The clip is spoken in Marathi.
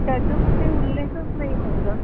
त्याचा कुठे उल्लेखच नाही होत ग